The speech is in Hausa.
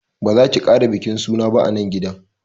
Ba zaki kara bikin suna ba anan gidan